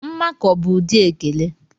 Mmakọ bụ ụdị ekele.